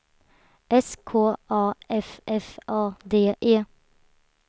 S K A F F A D E